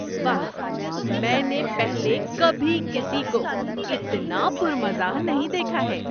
واہ! میں نے پہلے کبھی کسی کو اتنا پُر مزاح نہیں دیکھا ہے!